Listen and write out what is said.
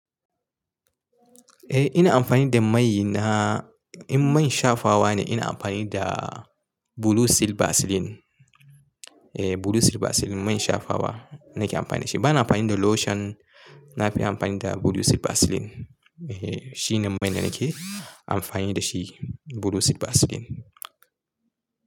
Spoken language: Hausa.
Eh ina amfani da mai na, in man shafawa ne ina amfani da Blue Seal Vaseline. Eh Blue Seal Vaseline man shafawa nake amfani da shi. Bana amfani da lotion. Na fi amfani da Blue Seal Vaseline. Eh shine mai da nake amfani da shi Blue Seal Vaseline.